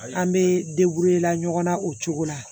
An bɛ la ɲɔgɔn na o cogo la